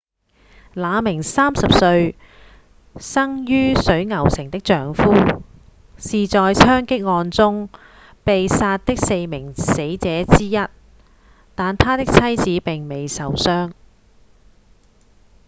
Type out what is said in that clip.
那名30歲、生於水牛城的丈夫是在槍擊案中被殺的四名死者之一但她的妻子並未受傷